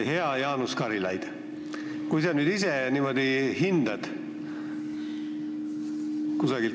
Hea Jaanus Karilaid!